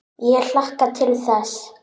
Ég hlakka til þess.